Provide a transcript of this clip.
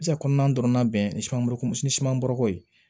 kɔnɔna dɔrɔn bɛnko ni siman bɔrɔkɔ ye